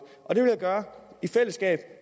og det vil han gøre i fællesskab